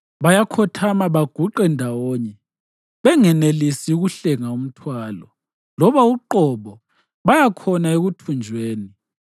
Bayakhothama baguqe ndawonye; benganelisi ukuhlenga umthwalo, labo uqobo baya khona ekuthunjweni.